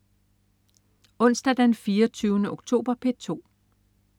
Onsdag den 24. oktober - P2: